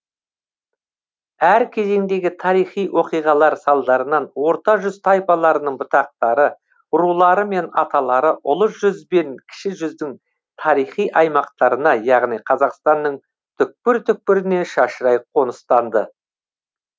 әр кезеңдегі тарихи оқиғалар салдарынан орта жүз тайпаларының бұтақтары рулары мен аталары ұлы жүз бен кіші жүздің тарихи аймақтарына яғни қазақстанның түкпір түкпіріне шашырай қоныстанды